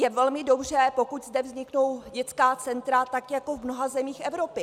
Je velmi dobře, pokud zde vzniknou dětská centra tak jako v mnoha zemích Evropy.